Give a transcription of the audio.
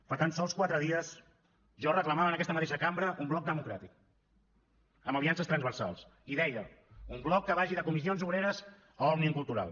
fa tan sols quatre dies jo reclamava en aquesta mateixa cambra un bloc democràtic amb aliances transversals i deia un bloc que vagi de comissions obreres a òmnium cultural